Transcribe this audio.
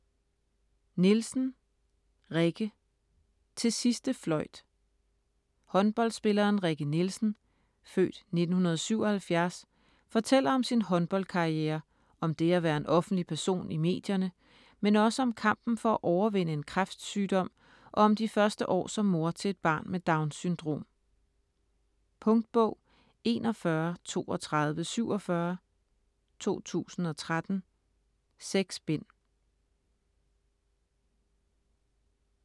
Nielsen, Rikke: Til sidste fløjt Håndboldspilleren Rikke Nielsen (f. 1977) fortæller om sin håndboldkarriere, om det at være en offentlig person i medierne, men også om kampen for at overvinde en kræftsygdom og om de første år som mor til et barn med Downs syndrom. Punktbog 413247 2013. 6 bind.